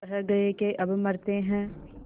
कह गये के अब मरते हैं